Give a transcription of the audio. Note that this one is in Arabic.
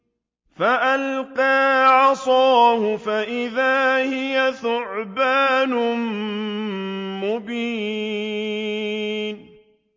فَأَلْقَىٰ عَصَاهُ فَإِذَا هِيَ ثُعْبَانٌ مُّبِينٌ